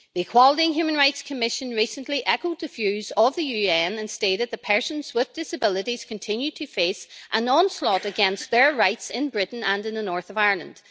The Equality and Human Rights Commission recently echoed the views of the UN and stated that persons with disabilities continue to face an onslaught against their rights in Britain and in the north of Ireland.